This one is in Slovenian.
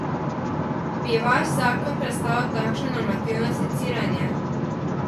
Bi vaš zakon prestal takšno normativno seciranje?